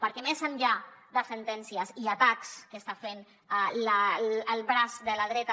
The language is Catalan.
perquè més enllà de sentències i atacs que està fent el braç de la dreta